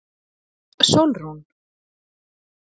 Sólrún